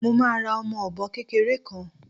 Mo máa ra ọmọ ọ̀bọ kékeré kan